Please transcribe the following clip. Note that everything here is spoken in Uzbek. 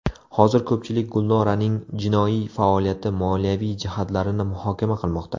Hozir ko‘pchilik Gulnoraning jinoiy faoliyati moliyaviy jihatlarini muhokama qilmoqda.